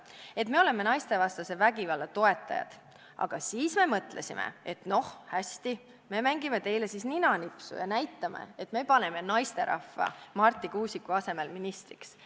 Et me oleme naistevastase vägivalla toetajad aga siis me mõtlesime, et noh, hästi, me mängime teile siis ninanipsu ja näitame, et me paneme naisterahva Marti Kuusiku asemel ministriks.